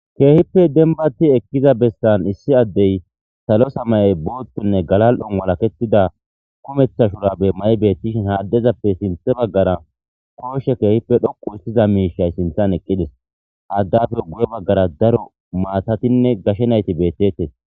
Kehippe dembati ekiza besani issi adeyi salo samaye , boothunne galal'oni walaketida kumetha shurabe mayi beetishn ha adezappe sinthen bagara kooshe kehippe dhoqu hisitiza mishay sinthani eqidesi. Haadappe guye bagara daro maatatinne gashe nayti beetetesi.